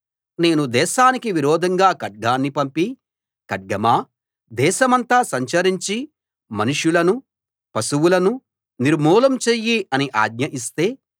నేను దేశానికి విరోధంగా ఖడ్గాన్ని పంపి ఖడ్గమా దేశమంతా సంచరించి మనుషులనూ పశువులనూ నిర్మూలం చెయ్యి అని ఆజ్ఞ ఇస్తే